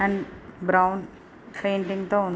And brown painting తో ఉంది.